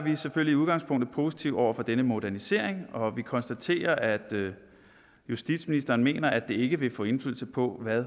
vi er selvfølgelig i udgangspunktet positive over for denne modernisering og vi konstaterer at justitsministeren mener at det ikke vil få indflydelse på hvad